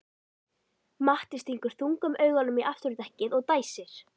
Matti stingur þungum augunum í afturdekkið og dæsir.